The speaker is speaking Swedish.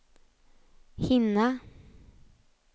hinna